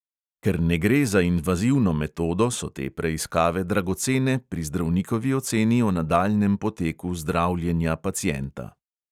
Ker ne gre za invazivno metodo, so te preiskave dragocene pri zdravnikovi oceni o nadaljnjem poteku zdravljenja pacienta.